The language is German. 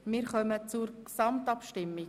Wir kommen zur Gesamtabstimmung.